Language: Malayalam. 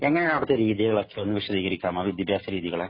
എങ്ങനെയാണു അവിടത്തെ രീതികള്‍.ഒക്കെ ഒന്ന് വിശദീകരിക്കാമോ? വിദ്യാഭ്യാസ രീതികള്.